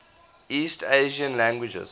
east asian languages